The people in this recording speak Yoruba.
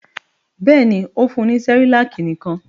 Bẹ́ẹ̀ ni, ó fún ní Cerelac nìkan.